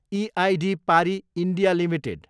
EID Parry, India, limited